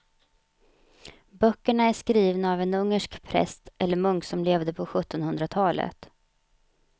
Böckerna är skrivna av en ungersk präst eller munk som levde på sjuttonhundratalet.